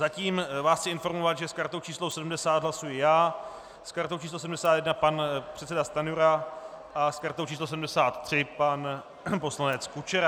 Zatím vás chci informovat, že s kartou číslo 70 hlasuji já, s kartou číslo 71 pan předseda Stanjura a s kartou číslo 73 pan poslanec Kučera.